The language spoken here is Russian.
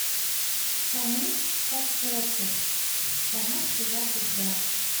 шамиль кашешов потому что я влюблен